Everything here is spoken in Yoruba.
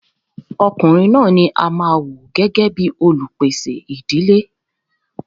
Ọkùnrin ní a máà wò gbẹ́gẹ́ bìí olupèsè ìdílé.